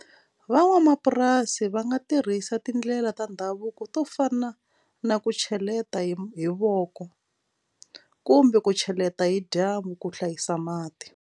Van'wamapurasi va nga tirhisa tindlela ta ndhavuko to fana na ku cheleta hi hi voko kumbe ku cheleta hi dyambu ku hlayisa mati.